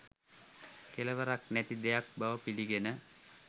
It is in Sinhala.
කෙලවරක් නැති දෙයක් බව පිළිගෙන